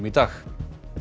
í dag